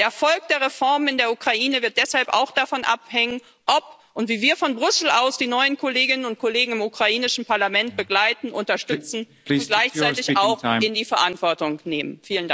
Der Erfolg der Reformen in der Ukraine wird deshalb auch davon abhängen, ob und wie wir von Brüssel aus die neuen Kolleginnen und Kollegen im ukrainischen Parlament begleiten, unterstützen und gleichzeitig auch in die Verantwortung nehmen.